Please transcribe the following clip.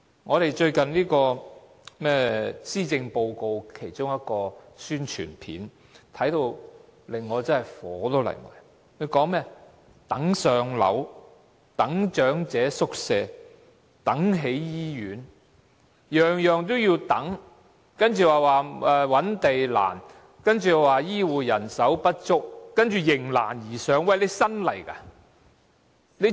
我看到最近有關施政報告和財政預算案的一段宣傳短片，感到十分憤怒，它說"等上樓，等長者宿位，等起醫院"，樣樣也要等，然後說覓地難，又說醫護人手不足，接着說"迎難而上"——特首是新上任的嗎？